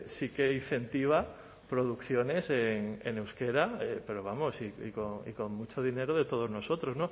sí que incentiva producciones en euskera pero vamos y con mucho dinero de todos nosotros